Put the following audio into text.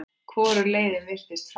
Hvorug leiðin virtist fær.